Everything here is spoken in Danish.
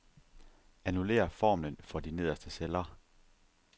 Annullér formlen for de nederste celler.